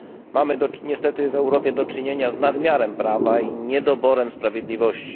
Mamy niestety w Europie do czynienia z nadmiarem prawa i niedoborem sprawiedliwości.